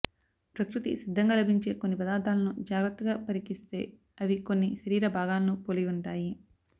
ప్రకృతి సిద్ధంగా లభించే కొన్ని పదార్థాలను జాగ్రత్తగా పరికిస్తే అవి కొన్ని శరీర భాగాలను పోలి ఉంటాయి